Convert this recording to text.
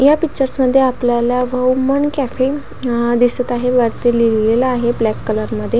या पिक्चर्स मध्ये आपल्याला वहुमन कॅफे अ दिसत आहे. वरती लिहिलेल आहे ब्लॅक कलर मध्ये.